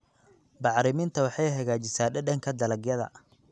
Bacriminta waxay hagaajisaa dhadhanka dalagyada.